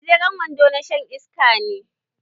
Gajeren wando na shan iska ne.